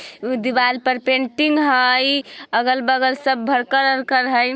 उ दीवार पर पेंटिंग है अगल-बगल सब भरकर वर्कर है।